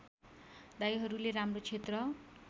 दाइहरूले राम्रो क्षेत्र